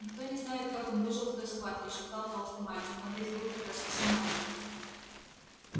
никто не знает как он выжил в той схватке шептал толстый мальчик он ведь был тогда совсем маленький